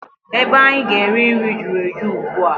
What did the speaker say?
Ebe anyị ga-eri nri juru eju ugbua.